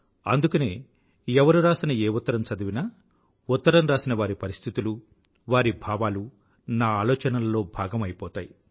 అందుకనేఎవరు రాసిన ఏ ఉత్తరం చదివినా ఉత్తరం రాసినవారి పరిస్థితులు వారి భావాలు నా ఆలోచనల్లో భాగం అయిపోతాయి